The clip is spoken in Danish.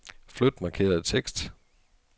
Flyt markerede tekst.